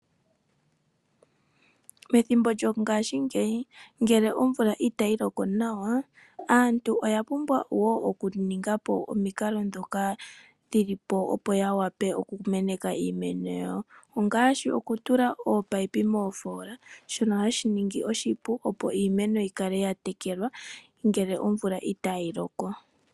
Methimbo lyongaashingeyi ngele omvula itayi loko nawa aantu oya pumbwa wo okuninga po omikalo ndhoko dhili po opo yawe okumeneka iimeno yawo ngaashi okutula ominino moofola shono hashi ningi oshipu okutekele iimeno yawo ngele omvula itaayi loko